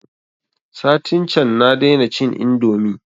Satin can na dai na cin indomi